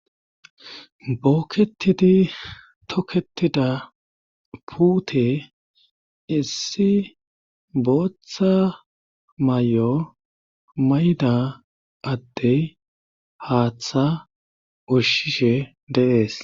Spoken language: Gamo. Bookketidi toketida pute issi booththa mayo mayda addey haaththa ushshishe dee'es.